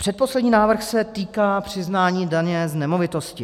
Předposlední návrh se týká přiznání daně z nemovitosti.